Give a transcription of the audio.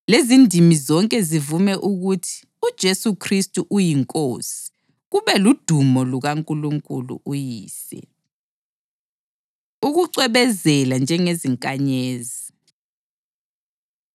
lezindimi zonke zivume ukuthi uJesu Khristu uyiNkosi, kube ludumo lukaNkulunkulu uYise. Ukucwebezela Njengezinkanyezi